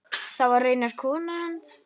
Það var raunar konan hans.